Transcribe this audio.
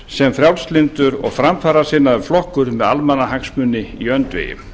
sem frjálslyndur og framfarasinnaður flokkur með almannahagsmuni í öndvegi